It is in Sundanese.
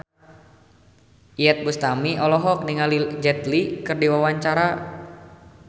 Iyeth Bustami olohok ningali Jet Li keur diwawancara